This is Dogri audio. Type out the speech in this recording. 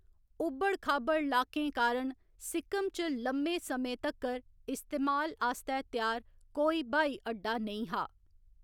उब्बड़ खाबड़ लाकें कारण सिक्किम च लम्मे समें तक्कर इस्तेमाल आस्तै त्यार कोई ब्हाई अड्डा नेईं हा।